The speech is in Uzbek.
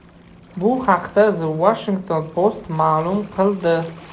Bu haqda The Washington Post ma’lum qildi .